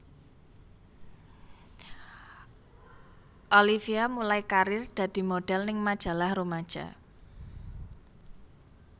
Olivia mulai karir dadi modhel ning majalah rumaja